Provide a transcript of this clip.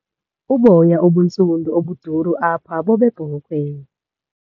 Uboya obuntsundu obuduru apha bobebhokhwe.